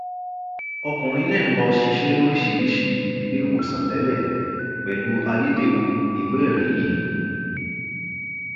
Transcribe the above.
ọkùnrin náà lọ ṣiṣẹ lóríṣìíríṣìí iléèwòsàn tẹlẹ pẹlú ayédèrú ìwéẹrí yìí